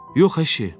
Yox əşi.